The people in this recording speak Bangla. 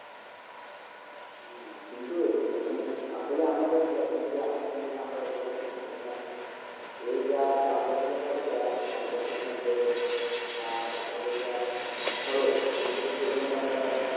না কিন্তু মানে আসলে আমরাই রকি ভাই কিন্তু এখনকার যুগে আমরা রকি ভাই না, কারণ দেখো এই যা চাষবাসে যা খরচা তারপর কীটনাশক সার এসবের যা খরচ কিন্তু সেতুলনায় তো আমরা মানে,